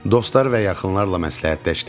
Dostlar və yaxınlarla məsləhətləşdim.